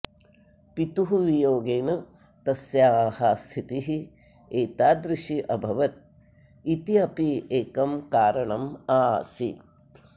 पितुः वियोगेन तस्याः स्थितिः एतादृशी अभवत् इति अपि एकं कारणम् आसीत्